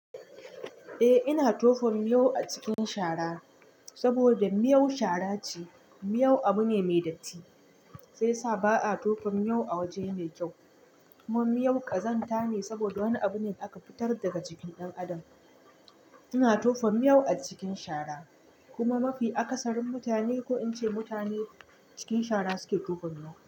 Eh ina tofon miyau a cikin shara, saboda miyau shara ce, miyau abu ne mai datti, sai sa ba'a tofon miyau a waje ne kyau. Kuma miyau ƙazanta ne saboda wani abune aka fitar daga jikin ɗan adam. Ina tofon miyau a cikin shara, kuma mafi akasarin mutane ko in ce mutane cikin shara suke tofa miyau.